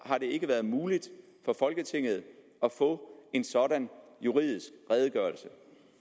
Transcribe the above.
har det ikke været muligt for folketinget at få en sådan juridisk redegørelse